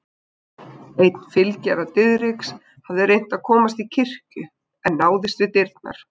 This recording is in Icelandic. Einn fylgjara Diðriks hafði reynt að komast á kirkju en náðist við dyrnar.